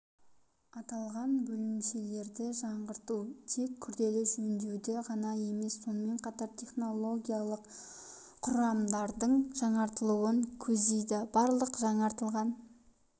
аталған бөлімшелерді жаңғырту тек күрделі жөндеуді ғана емес сонымен қатар технологиялық құрамдардың жаңартылуын көздейді барлық жаңғыртылған